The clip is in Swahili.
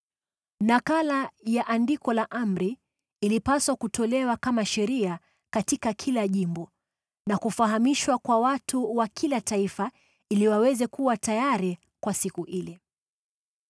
Nakala ya andiko la amri ilipaswa kutolewa kama sheria katika kila jimbo, na kufahamishwa kwa watu wa kila taifa ili waweze kuwa tayari kwa siku ile.